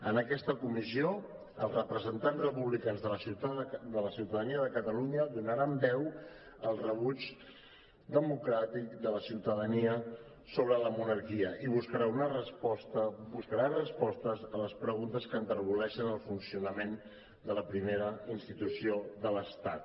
en aquesta comissió els representants republicans de la ciutadania de catalunya donaran veu al rebuig democràtic de la ciutadania sobre la monarquia i buscaran respostes a les preguntes que enterboleixen el funcionament de la primera institució de l’estat